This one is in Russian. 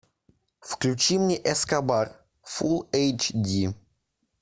включи мне эскобар фулл эйч ди